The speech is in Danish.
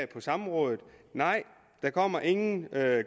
på samrådet nej der kommer ingen